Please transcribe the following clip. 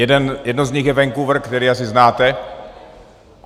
Jedno z nich je Vancouver, který asi znáte.